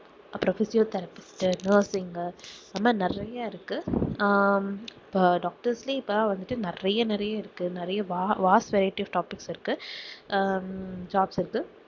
அப்பறம் physiotherapist உ nursing உ அது மாதிரி நிறைய இருக்கு ஆஹ் இப்போ doctors ஏ இப்போ வந்துட்டு நிறைய நிறைய இருக்கு நிறைய va~ vast varieties doctors இருக்கு ஆஹ் jobs இருக்கு